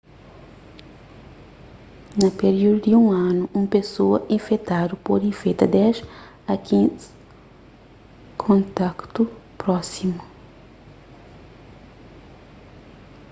na piríudu di un anu un pesoa infetadu pode infeta 10 a 15 kontaktu prósimu